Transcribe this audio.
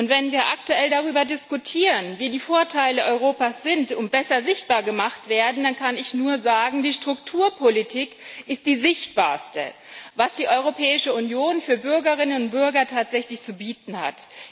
Wenn wir aktuell darüber diskutieren, was die Vorteile Europas sind und wie sie besser sichtbar gemacht werden, dann kann ich nur sagen Die Strukturpolitik ist das Sichtbarste, was die Europäische Union tatsächlich für Bürgerinnen und Bürger zu bieten hat.